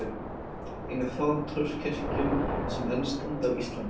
Ein af fáum torfkirkjum sem enn standa á Íslandi.